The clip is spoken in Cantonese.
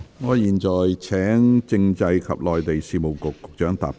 我現在請政制及內地事務局局長答辯。